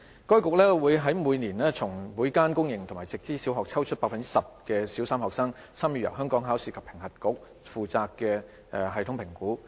該局會每年從每間公營及直資小學抽出百分之十的小三學生，參與由香港考試及評核局負責的系統評估。